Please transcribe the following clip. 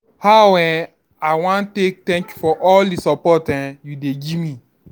How um I wan take thank you for all dis support um you dey give me? um